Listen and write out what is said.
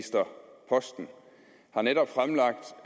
har netop fremlagt